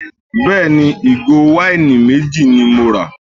Bẹ́ẹ̀ni, ìgò wáìnì méjì ni mo rà.